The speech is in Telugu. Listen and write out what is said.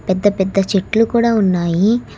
పెద్ద పెద్ద చెట్లు కూడా ఉన్నాయి.